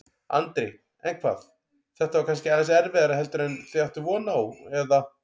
Andri: En hvað, þetta var kannski aðeins erfiðara heldur en þið áttuð von á, eða?